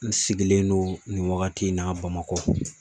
N sigilen don nin wagati in na BAMAKƆ.